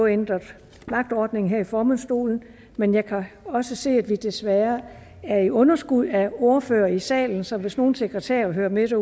ændret vagtordning her i formandsstolen men jeg kan også se at vi desværre er i underskud af ordførere i salen så hvis nogle sekretærer hører med